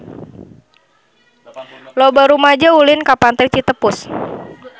Loba rumaja ulin ka Pantai Citepus